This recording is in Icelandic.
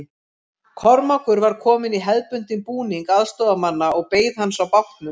Kormákur var kominn í hefðbundinn búning aðstoðarmanna og beið hans á bátnum.